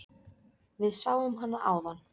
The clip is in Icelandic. Við sáum hana áðan.